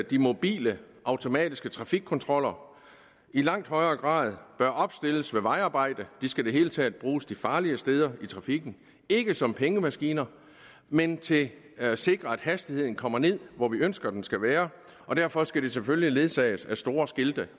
de mobile automatiske trafikkontroller i langt højere grad bør opstilles ved vejarbejde de skal i det hele taget bruges de farlige steder i trafikken ikke som pengemaskiner men til at sikre at hastigheden kommer derned hvor vi ønsker den skal være derfor skal de selvfølgelig ledsages af store skilte